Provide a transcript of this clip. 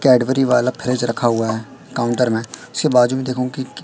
Cadbury वाला fridge रखा हुआ है काउंटर में उसके बाजू में देखोगे कि कि--